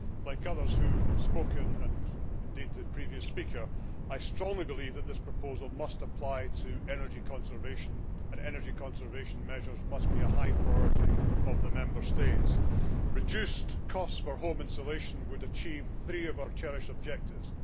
Like others who have spoken, and indeed the previous speaker, I strongly believe that this proposal must apply to energy conservation, and energy conservation measures must be a high priority of the Member States. Reduced costs for home installation would achieve three of our cherished objectives.